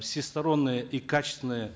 всестороннее и качественное